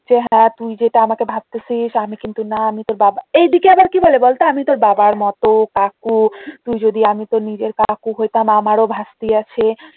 যে হ্যাঁ তুই যেটা আমাকে ভাবতেছিস আমি কিন্তু না আমি তোর বাবা এই দিকে আবার কি বলে বলত আমি তোর বাবার মত কাকু তুই যদি আমি তোর নিজের কাকু হইতাম আমারও ভাস্তি আছে